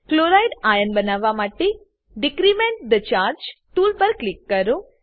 chloride ion બનાવવા માટે decrement the charge tool પર ક્લિક કરો